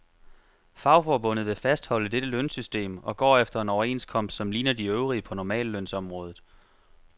Fagforbundet vil fastholde dette lønsystem, og går efter en overenskomst som ligner de øvrige på normallønsområdet.